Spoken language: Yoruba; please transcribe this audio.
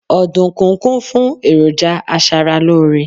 ọdunkun kún fún eroja aṣara lore